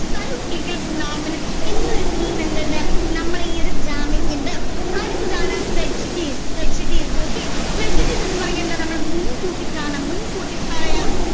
cyclical phenomenon എന്ന ഒരു theme എന്തുണ്ട് നമ്മുടെ ഈ ഒരു drama യ്ക്കുണ്ട് അടുത്തത് ആണ് prejudice prejudice okay prejudice എന്ന് പറഞ്ഞ എന്താ നമ്മൾ മുൻകൂട്ടി കാണാം മുൻകൂട്ടി പറയാം